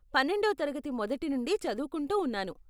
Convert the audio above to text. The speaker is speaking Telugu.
పన్నెండో తరగతి మొదటి నుండి చదువుకుంటూ ఉన్నాను.